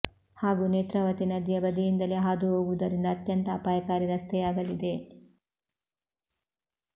ಹಾಗೂ ನೇತ್ರಾವತಿ ನದಿಯ ಬದಿಯಿಂದಲೇ ಹಾದು ಹೋಗುವುದರಿಂದ ಅತ್ಯಂತ ಅಪಾಯಕಾರಿ ರಸ್ತೆಯಾಗಲಿದೆ